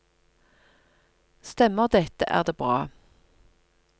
Stemmer dette, er det bra.